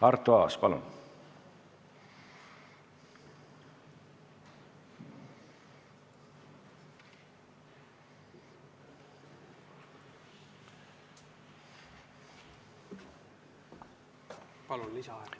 Arto Aas, palun!